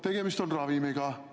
Tegemist on ravimiga.